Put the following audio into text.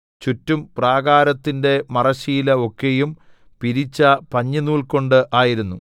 ചുറ്റും പ്രാകാരത്തിന്റെ മറശ്ശീല ഒക്കെയും പിരിച്ച പഞ്ഞിനൂൽകൊണ്ട് ആയിരുന്നു